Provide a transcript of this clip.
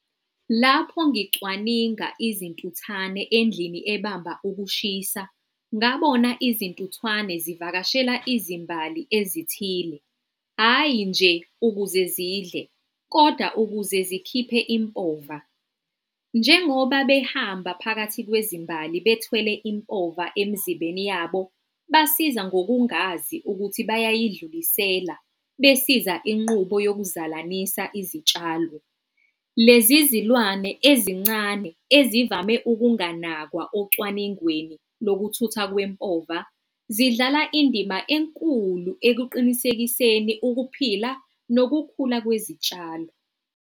Lapho ngicwaninga izintuthane endlini ebamba ukushisa, ngabona izintuthwane zivakashela izimbali ezithile. Ayi nje ukuze zidle kodwa ukuze zikhiphe impova. Njengoba behamba phakathi kwezimali bethwele impova emzimbeni yabo, basiza ngokungazi ukuthi bayayidlulisela besiza inqubo yokuzalanisa izitshalo. Lezi zilwane ezincane ezivame ukunganakwa ocwaningeni lokuthuthwa kwempova, zidlala indima enkulu ekuqinisekiseni ukuphila nokukhula kwezitshalo.